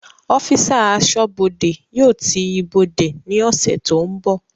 Ọ́físà Aṣọ́bọdè yóò ti ibodè ní ọ̀sẹ̀ tó ń bọ̀